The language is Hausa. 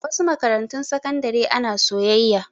A wasu makarantun sakandare ana soyayya.